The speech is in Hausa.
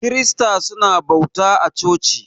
Kirista su na bauta a coci.